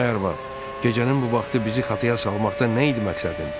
Ay arvad, gecənin bu vaxtı bizi xətaya salmaqda nə idi məqsədin?